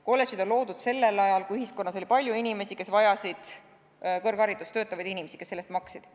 Kolledžid on loodud sellel ajal, kui ühiskonnas oli palju inimesi, kes vajasid kõrgharidust, töötavaid inimesi, kes selle eest maksid.